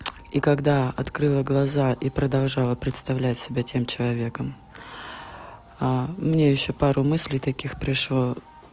и когда открыла глаза и продолжала представлять себя тем человеком а мне ещё пару мыслей таких пришло